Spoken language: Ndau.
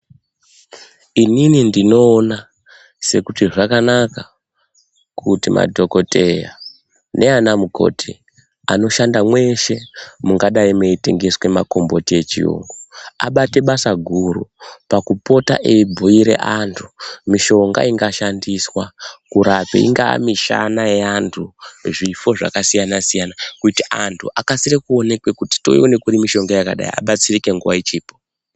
Inini ndinoona sekuti zvakanaka kuti madhokoteya neana mukoti anoshanda mweshe mungadai muitengeswa makomboti echiyungu. Abate basa guru pakupota eibhuira antu mishonga ingashandiswa kurape ingaa mishana yeantu zvifo zvakasiyana-siyana. Kuti antu akasire kuonekwe kuti toione kuri mishonga yakadai abatsirike nguva ichiripo.